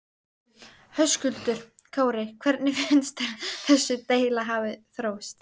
Höskuldur Kári: Hvernig finnst þér þessi deila hafa þróast?